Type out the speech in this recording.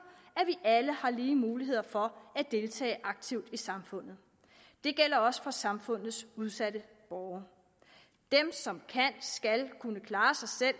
at vi alle har lige muligheder for at deltage aktivt i samfundet det gælder også for samfundets udsatte borgere dem som kan skal kunne klare sig selv